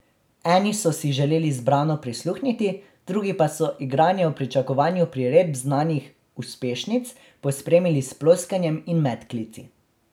Eni so si želeli zbrano prisluhniti, drugi pa so igranje v pričakovanju priredb znanih uspešnic, pospremili s ploskanjem in medklici.